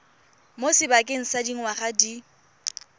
mo sebakeng sa dingwaga di